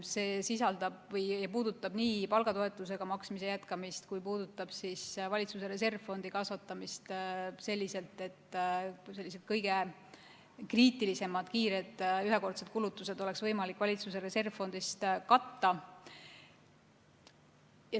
See puudutab nii palgatoetuse maksmise jätkamist kui ka valitsuse reservfondi kasvatamist selliselt, et kõige kriitilisemad, kiired ühekordsed kulutused oleks võimalik valitsuse reservfondist katta.